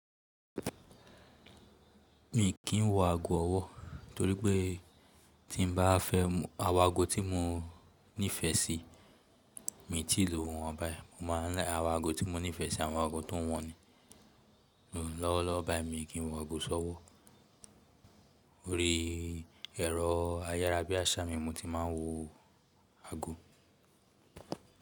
Mi kì í wọ ago ọwọ́ torí pé tí n bá fẹ́ àwọn ago tí mo nífẹ̀ẹ́ sí, mi ò tí lòwo wọ̀n báyìí. Mo ma ń rí àwọn ago tí mo nífẹ̀ẹ́ sí, àwọn ago tó wọ̀n ni. Lọ́wọ́lọ́wọ́ báyìí mi kì í wọ ago ṣọ́wọ́. Ó rí ẹ̀rọ ayára bí àsámì mo ti máa ń wọ ago.